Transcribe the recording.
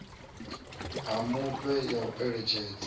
ha mufhe ya u eletshedza